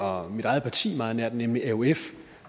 og mit eget parti meget nær nemlig aof